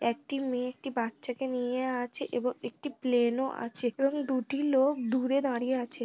একটি মেয়ে একটি বাচ্চাকে নিয়ে আছে এবং একটি প্লেন -ও আছে এবং দুটি লোক দূরে দাড়িয়ে আছে।